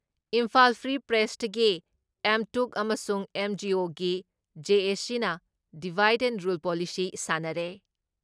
Imphal free ꯄ꯭ꯔꯦꯁꯇꯗꯤ ꯑꯦꯝꯇꯨꯛ ꯑꯃꯁꯨꯡ ꯑꯦꯝꯖꯤꯑꯣꯒꯤ ꯖꯦ.ꯑꯦ.ꯁꯤꯅ ꯗꯤꯚꯥꯏꯠ ꯑꯦꯟ ꯔꯨꯜ ꯄꯣꯂꯤꯁꯤ ꯁꯥꯟꯅꯔꯦ,